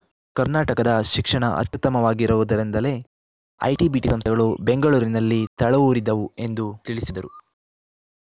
ಕರ್ನಾಟಕದ ಶಿಕ್ಷಣ ಅತ್ಯುತ್ತಮ ವಾಗಿರುವುದರಿಂದಲೇ ಐಟಿ ಬಿಟಿ ಸಂಸ್ಥೆಗಳು ಬೆಂಗಳೂರಿನಲ್ಲಿ ತಳವೂರಿದವು ಎಂದು ತಿಳಿಸಿದರು